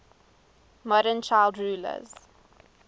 modern child rulers